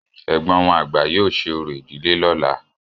Ẹ̀gbọ́n wọn àgbà yóò ṣe oró ìdílé lọ́la.